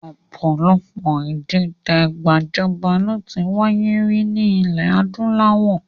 Ọ̀pọ̀lọpọ̀ ìdìtẹ̀ gbajọba ló ti wáyé rí ní ilẹ̀ adúláwọ̀